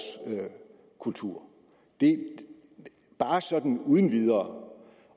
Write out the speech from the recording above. kultur bare sådan uden videre